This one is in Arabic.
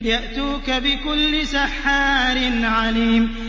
يَأْتُوكَ بِكُلِّ سَحَّارٍ عَلِيمٍ